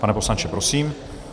Pane poslanče, prosím.